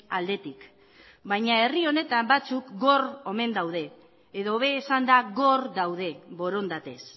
aldetik baina herri honetan batzuk gor omen daude edo hobe esanda gor daude borondatez